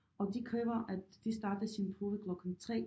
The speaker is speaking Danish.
Og de kræver at de starter sin prøve klokken 3